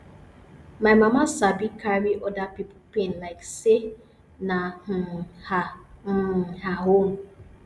my mama sabi carry oda pipo pain like sey na um her um her own